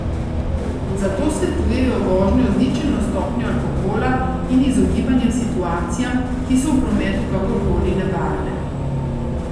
Zato svetujejo vožnjo z ničelno stopnjo alkohola in izogibanje situacijam, ki so v prometu kakorkoli nevarne.